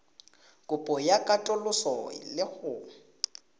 kopo ya katoloso le go